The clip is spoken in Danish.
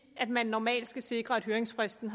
at man normalt skal sikre at høringsfristen